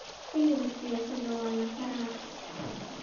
Hiliki siyasada walakarax.